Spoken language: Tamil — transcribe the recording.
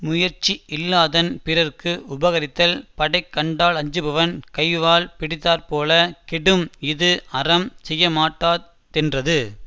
முயற்சியில்லாதன் பிறர்க்கு உபகரித்தல் படைகண்டாலஞ்சுமவன் கைவாள் பிடித்தாற்போலக் கெடும் இஃது அறம் செய்யமாட்டாத்தென்றது